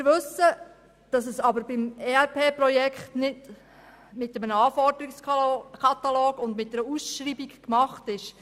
Wir wissen, dass es beim ERP-Projekt nicht mit einem Anforderungskatalog und einer Ausschreibung getan ist.